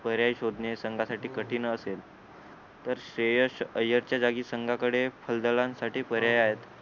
पर्याय शोधणे संघासाठी कठीणच असेल तर श्रेयस अय्यर च्या जागी संघाकडे फलंदा साठी पर्याय आहे